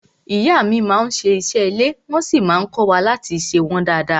Ìyá mi má n ṣe ìṣe ilé wọ́n sí má n kọ́wa láti ṣe wọ́n dada.